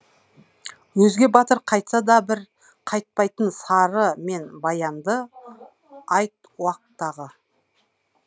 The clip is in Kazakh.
өзге батыр қайтса да бір қайтпайтын сары мен баянды айт уақтағы